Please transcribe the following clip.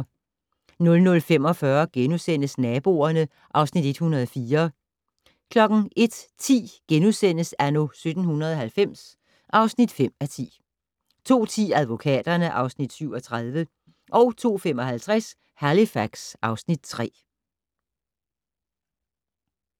00:45: Naboerne (Afs. 104)* 01:10: Anno 1790 (5:10)* 02:10: Advokaterne (Afs. 37) 02:55: Halifax (Afs. 3)